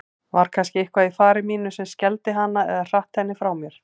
Var kannski eitthvað í fari mínu sem skelfdi hana eða hratt henni frá mér?